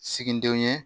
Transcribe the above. Siginidenw ye